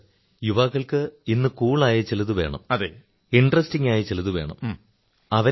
sir യുവാക്കൾക്ക് ഇന്ന് cool ആയ ചിലതു വേണം രസകരമായ ചിലതു വേണം